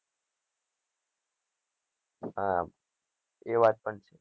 હમ એ વાત પણ સાચી